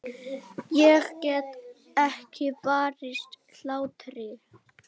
Ég get ekki varist hlátri.